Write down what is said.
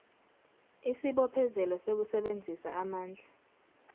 isibophezelo sokusebenzisa amandla